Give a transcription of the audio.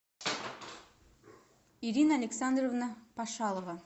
ирина александровна пашалова